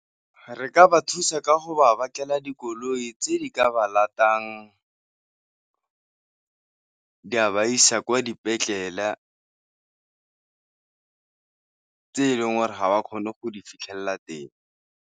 Re ka ba thusa ka go ba batlela dikoloi tse di ka ba di a ba isa kwa dipetlele tse e leng gore ga ba kgone go di fitlhelela teng.